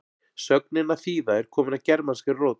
sögnin að þýða er komin af germanskri rót